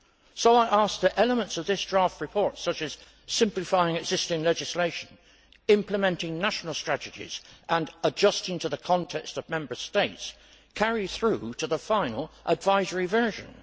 So I ask that elements of this draft report, such as simplifying existing legislation, implementing national strategies and adjusting to the context of Member States, carry through to the final, advisory version.